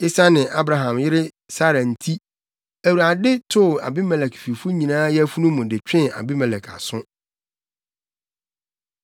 Esiane Abraham yere Sara nti, Awurade too Abimelek fifo nyinaa yafunu mu de twee Abimelek aso.